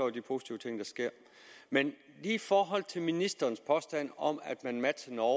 de positive ting der sker men i forhold til ministerens påstand om at man matcher norge